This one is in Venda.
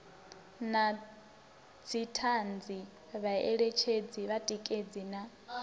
na dzithanzi vhaeletshedzi vhatikedzi na